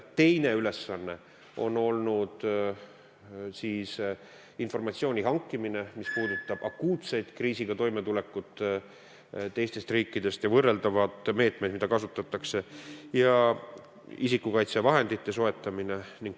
Teine ülesanne on olnud teistest riikidest informatsiooni hankimine, mis puudutab akuutset kriisiga toimetulekut ja võrreldavaid meetmeid, mida kasutatakse, ning isikukaitsevahendite soetamine.